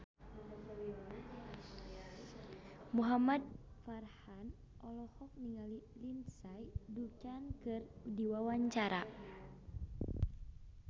Muhamad Farhan olohok ningali Lindsay Ducan keur diwawancara